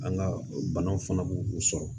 An ka banaw fana b'u u sɔrɔ